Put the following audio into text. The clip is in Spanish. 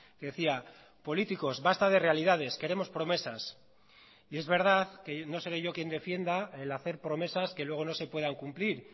que decía políticos basta de realidades queremos promesas y es verdad que no seré yo quien defienda el hacer promesas que luego no se puedan cumplir